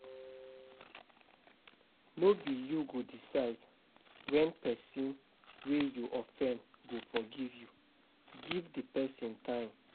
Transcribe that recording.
No be you go decide when person wey you offend go forgive you, give di person time